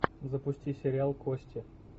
запусти сериал кости